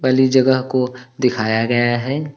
खाली जगह को दिखाया गया है।